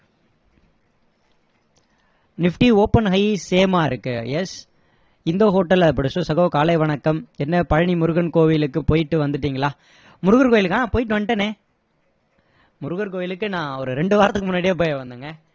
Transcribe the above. nifty open high same மா இருக்கு yes இந்தோ ஹோட்டல் சகோ காலை வணக்கம் என்ன பழனி முருகன் கோயிலுக்கு போயிட்டு வந்துட்டீங்களா முருகர் கோயிலுக்கு ஆஹ் போயிட்டு வந்துட்டேனே முருகர் கோயிலுக்கு நான் ஒரு ரெண்டு வாரத்துக்கு முன்னாடியே போய் வந்தேங்க